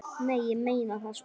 Nei, ég meina það sko.